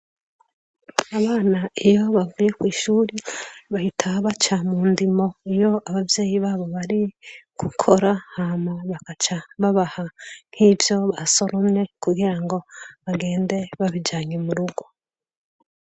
Abana iyo bavuye kw'ishuri bahita baca mu ndimo iyo abavyeyi babo bari gukora hama bakaca babaha nkivyo basoromye kugirango bagende babijyanye murugo.